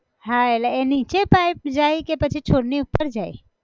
હા એટલે નીચે pipe જાય કે પછી છોડ ની ઉપર જાય!